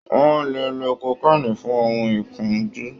Wọn lè lo kokéènì fun ohun ìkunjú